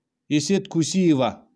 эсет куссиева